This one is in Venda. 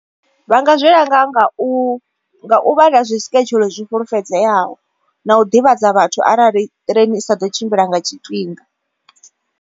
Vha nga zwi langa nga u nga u vha na zwi schedule zwi fulufhedzeaho na u ḓivhadza vhathu arali train isa ḓo tshimbila nga tshifhinga.